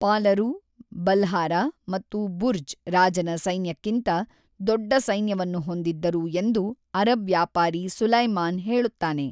ಪಾಲರು, ಬಲ್ಹಾರಾ ಮತ್ತು ಜುರ್ಜ್ ರಾಜನ ಸೈನ್ಯಕ್ಕಿಂತ ದೊಡ್ಡ ಸೈನ್ಯವನ್ನು ಹೊಂದಿದ್ದರು ಎಂದು ಅರಬ್ ವ್ಯಾಪಾರಿ ಸುಲೈಮಾನ್ ಹೇಳುತ್ತಾನೆ.